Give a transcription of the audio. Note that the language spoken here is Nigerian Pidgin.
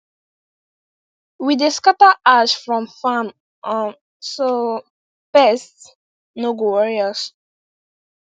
we dey scatter ash from kitchen um for farm so pest no go worry us